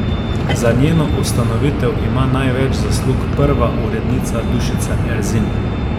Za njeno ustanovitev ima največ zaslug prva urednica Dušica Erzin.